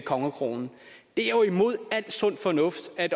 kongekronen det er jo imod al sund fornuft at